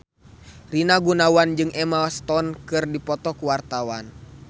Rina Gunawan jeung Emma Stone keur dipoto ku wartawan